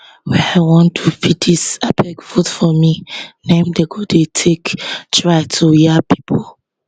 wey i wan do be dis abeg vote for me na im dem go dey take try to yab pipo